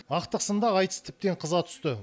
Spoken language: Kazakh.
ақтық сында айтыс тіптен қыза түсті